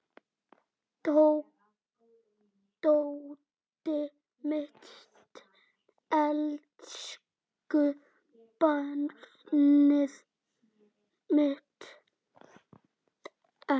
Tóti minn, elsku barnið mitt.